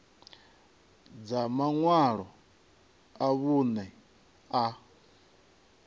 dza maṅwalo a vhuṋe a